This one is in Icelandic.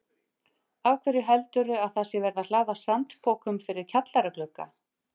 Af hverju heldurðu að það sé verið að hlaða sandpokum fyrir kjallaraglugga?